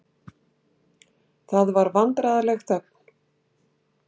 Það var vandræðaleg þögn.